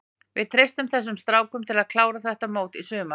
Við treystum þessum strákum til að klára þetta mót í sumar.